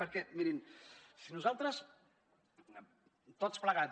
perquè mirin si nosaltres tots plegats